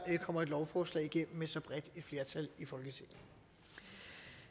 kommer et lovforslag igennem med så bredt et flertal i folketinget